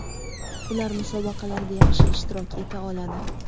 Ular musobaqalarda yaxshi ishtirok eta oladi.